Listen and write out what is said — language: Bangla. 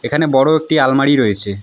এখানে বড়ো একটি আলমারি রয়েছে।